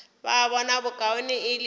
ba bona bokaone e le